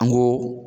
An ko